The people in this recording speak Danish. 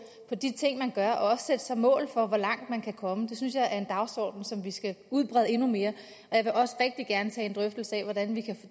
de ting man gør og også sætte sig mål for hvor langt man kan komme synes jeg er en dagsorden som vi skal udbrede endnu mere jeg vil også rigtig gerne tage en drøftelse af hvordan vi kan